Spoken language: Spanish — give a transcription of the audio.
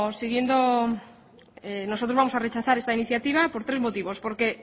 nosotros vamos a rechazar esta iniciativa por tres motivos porque